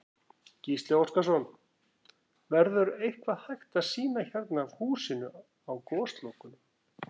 Gísli Óskarsson: Verður eitthvað hægt að sýna hérna af húsinu á Goslokunum?